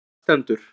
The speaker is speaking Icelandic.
Þar stendur: